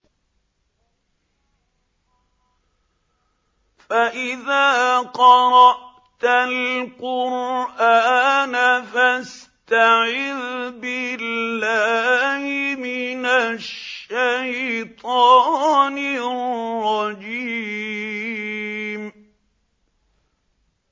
فَإِذَا قَرَأْتَ الْقُرْآنَ فَاسْتَعِذْ بِاللَّهِ مِنَ الشَّيْطَانِ الرَّجِيمِ